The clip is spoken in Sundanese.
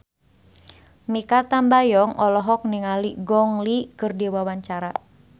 Mikha Tambayong olohok ningali Gong Li keur diwawancara